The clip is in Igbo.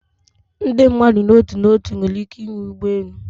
Ndị mmadụ n'otu n'otu nwere ike ịnwe ụgbọ elu